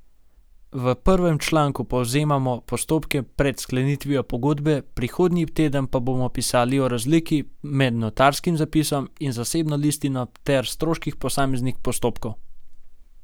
V prvem članku povzemamo postopke pred sklenitvijo pogodbe, prihodnji teden pa bomo pisali o razliki med notarskim zapisom in zasebno listino ter stroških posameznih postopkov.